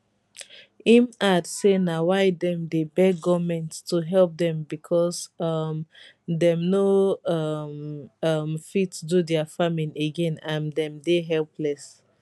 im add say na why dem dey beg goment to help dem becos um dem no um um fit do dia farming again and dem dey helpless